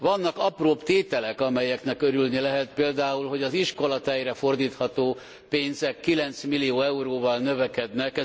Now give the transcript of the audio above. Vannak apróbb tételek, amelyeknek örülni lehet, például, hogy az iskolatejre fordítható pénzek 9 millió euróval növekednek.